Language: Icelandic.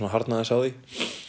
að harðna aðeins á því